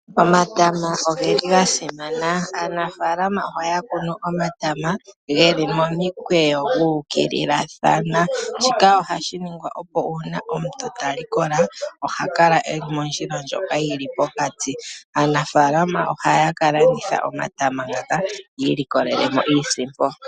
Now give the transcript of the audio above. Omatama oge li ga simana. Aanafaalama ohaya kunu omatama geli momikweyo gu ukililathana, shika ohashi ningwa opo uuna omuntu ta likola oha kala eli mondjila ndjoka yi li pokati. Aanafaalama ohaya ka landitha omatama ngaka yi ilikolele mo iisimpo.